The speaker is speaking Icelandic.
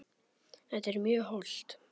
Þetta er mjög hollt.